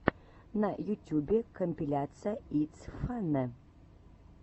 на ютюбе компиляция итс фанне